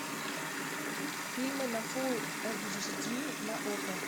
фильм на фулл эйч ди на окко